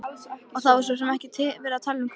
Það var svo sem ekki verið að tala um kaup.